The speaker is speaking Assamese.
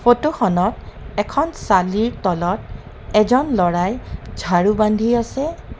ফোট খনত এখন চালিৰ তলত এজন ল'ৰায়ে ঝাৰু বান্ধি আছে.